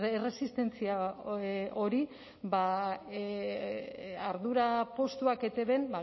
erresistentzia hori ardura postuak etbn